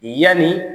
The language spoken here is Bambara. Yani